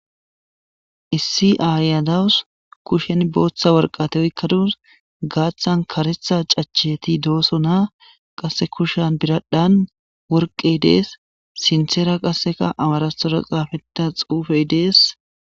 issi ayadawus kushen booththa worqate oy kaduus gaaththan karetha cacheti dooso naa qasse kushan biradhan worqey dees sintheera qasseka amarathooro xaafeta xuufey dees